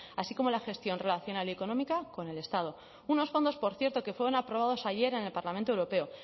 así como la gestión relacional y económica con el estado unos fondos por cierto que fueron aprobados ayer en el parlamento europeo